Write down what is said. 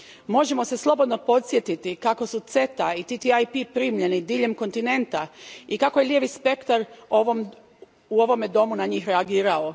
Možemo se slobodno podsjetiti kako su CETA i TTIP primljeni diljem kontinenta i kako je lijevi spektar u ovome domu na njih reagirao.